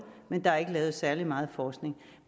men der er ikke lavet særlig meget forskning